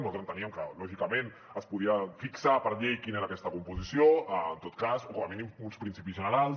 nosaltres enteníem que lògicament es podia fixar per llei quina era aquesta composició en tot cas o com a mínim uns principis generals